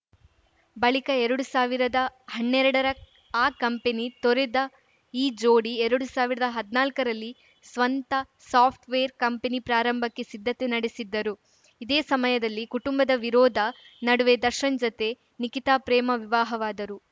ಬಳಿಕ ಎರಡು ಸಾವಿರದ ಹನ್ನೆರ್ಡರ ಆ ಕಂಪನಿ ತೊರೆದ ಈ ಜೋಡಿ ಎರಡು ಸಾವಿರದ ಹದ್ನಾಲ್ಕರಲ್ಲಿ ಸ್ವಂತ ಸಾಫ್ಟ್‌ವೇರ್‌ ಕಂಪನಿ ಪ್ರಾರಂಭಕ್ಕೆ ಸಿದ್ಧತೆ ನಡೆಸಿದ್ದರು ಇದೇ ಸಮಯದಲ್ಲಿ ಕುಟುಂಬದ ವಿರೋಧ ನಡುವೆ ದರ್ಶನ್‌ ಜತೆ ನಿಖಿತಾ ಪ್ರೇಮ ವಿವಾಹವಾದರು